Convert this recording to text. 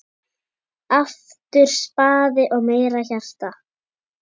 Aftur spaði og meira hjarta.